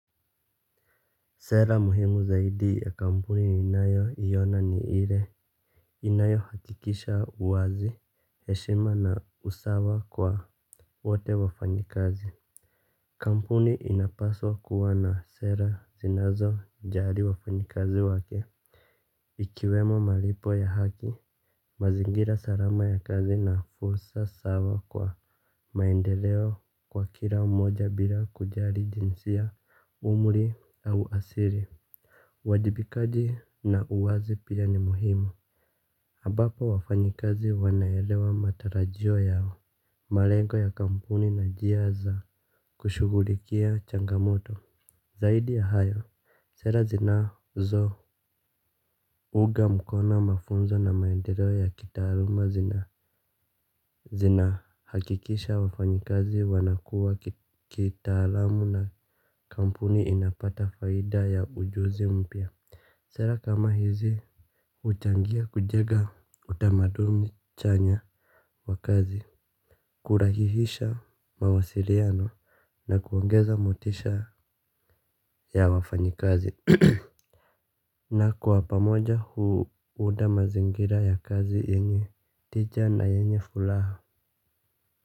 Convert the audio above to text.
Sera muhimu zaidi ya kampuni ninayoiona ni ile inayohakikisha uwazi heshima na usawa kwa wote wafanyikazi. Kampuni inapaswa kuwa na sera zinazojali wafanyikazi wake. Ikiwemo malipo ya haki mazingira salama ya kazi na fursa sawa kwa maendeleo kwa kila mmoja bila kujali jinsia umri au asili. Wajibikaji na uwazi pia ni muhimu ambapo wafanyikazi wanaelewa matarajio yao malengo ya kampuni na njia za kushughulikia changamoto zaidi ya hayo sera zinazounga mkono mafunzo na maendeleo ya kitaaluma zinahakikisha wafanyikazi wanakua kitaalamu na kampuni inapata faida ya ujuzi mpya. Sera kama hizi huchangia kujenga utamaduni chanya wa kazi. Kurahihisha mawasiliano na kuongeza motisha ya wafanyikazi na kwa pamoja huunda mazingira ya kazi yenye tija na yenye furaha.